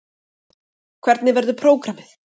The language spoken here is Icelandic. Hvernig verður prógramið?